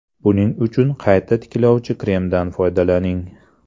Buning uchun qayta tiklovchi kremdan foydalaning.